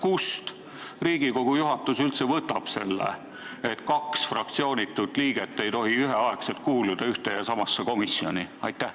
Kust Riigikogu juhatus üldse võtab selle, et kaks fraktsioonitut liiget ei tohi üheaegselt kuuluda ühte ja samasse komisjoni?